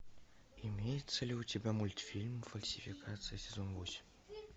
имеется ли у тебя мультфильм фальсификация сезон восемь